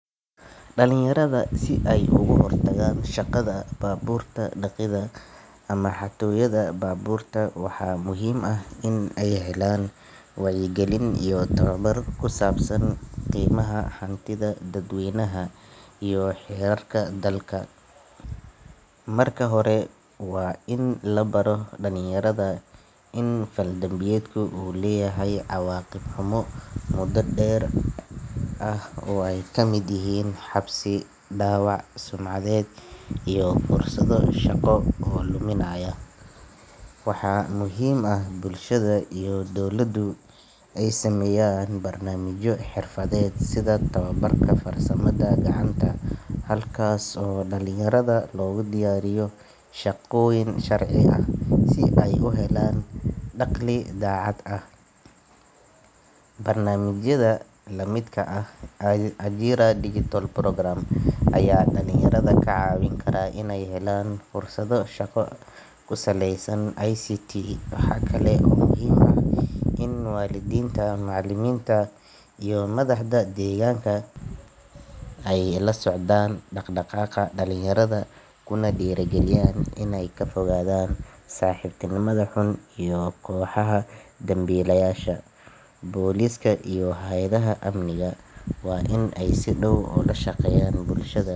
Dalinyarada si ey oguhortagaan shaqada baaburta daqidda ama xatooyada baaburta waxaa muhiim ah in ey helaan wacyigalin iyo toobar kusaabsan qeymaha hantida dadweynaha iyo xirarka dalka. Marka hore waan in labaro dalinyarada in faldambiyeedku uu leeyahy cawaaqib xumo muda deer ah oo ey kamid yahiin xabsi dawac sumcadeed iyo fursado shaqo oo luminaaya. Waxaa muhiim ah bulshada iyo dowladu ey sameyaan barnaamijyo xirfadeed sida toobarka farsamada gacanta halkaas oo dalinyarada logudiyaariyo shaqooyin sharci ah si ey uhelaan daqli daacad ah. Barnaamijyada lamidka ah Ajira digital program aya daliyarada kacaawin kara in ey helaan fursado shaqo kusaleysan ICT. Waxaakale oo muhiim ax in walidiinta macalimiinta iyo madahda deeganka ay lasocdaan daqdaqaqa dalinyarada kuna dirigaliyaan kana fogadaan saxibtinimada xun iyo koxaha dambilayasha. Poliska iyo hawadaha amniga waa in e si daw oolashaqeyaan bulshada.